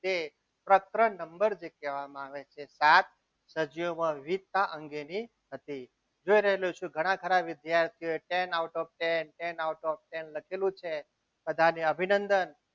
જે પ્રકરણ number કહેવામાં આવે છે સાત સજીવોમાં વિવિધતા અંગેની હતી રહી હતી જોઈ રહ્યા છો ઘણા ખરા વિદ્યાર્થીઓએ ten out of ten ten out of ten લખેલું છે બધાને અભિનંદન.